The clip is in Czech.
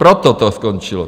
Proto to skončilo.